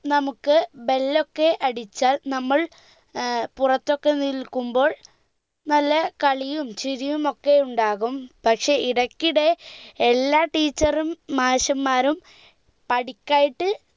നമുക്ക് bell ഒക്കെ അടിച്ചാൽ നമ്മൾ ഏർ പുറത്തൊക്കെ നിൽക്കുമ്പോൾ നല്ല കളിയും ചിരിയും ഒക്കെ ഉണ്ടാകും പക്ഷെ ഇടക്കിടെ എല്ലാ teacher ഉം മാഷമാരും പഠിക്കായിട്ട്